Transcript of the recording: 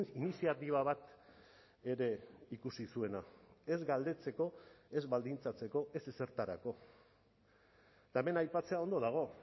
iniziatiba bat ere ikusi zuena ez galdetzeko ez baldintzatzeko ez ezertarako eta hemen aipatzea ondo dago